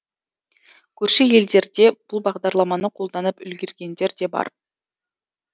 көрші елдерде бұл бағдарламаны қолданып үлгергендер де бар